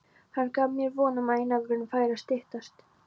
Hann gaf mér von um að einangrunin færi að styttast.